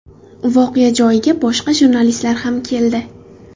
Voqea joyiga boshqa jurnalistlar ham keldi.